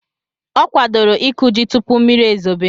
Ọ kwadoro ịkụ ji tupu mmiri ezobe.